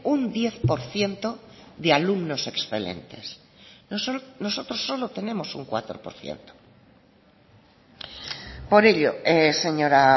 un diez por ciento de alumnos excelentes nosotros solo tenemos un cuatro por ciento por ello señora